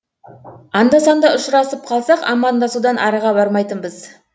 анда санда ұшырасып қалсақ амандасудан арыға бармайтынбыз